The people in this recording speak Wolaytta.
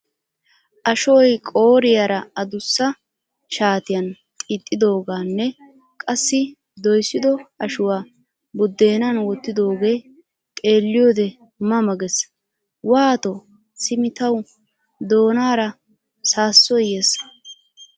Ashuwa qooriyara adduussa shaatiyan xiixidoganne qassi doyssido ashshuwaa buddenan wottidoge xeeliyode ma ma gees. Waato simi tawu doonaara saasoy yeesi.